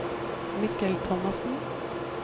Mikkel Thomassen